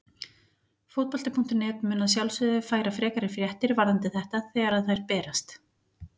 Fótbolti.net mun að sjálfsögðu færa frekari fréttir varðandi þetta þegar að þær berast.